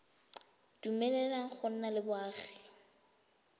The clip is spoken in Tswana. dumeleleng go nna le boagi